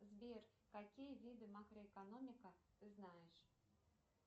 сбер какие виды макроэкономика ты знаешь